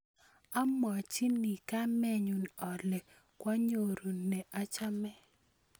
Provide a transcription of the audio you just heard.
Amwochin kamennyu ale kwaanyoru ne achame.